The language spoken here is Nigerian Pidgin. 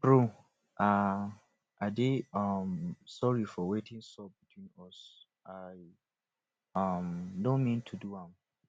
bro um i dey um sorry for wetin sup between us i um no mean to do am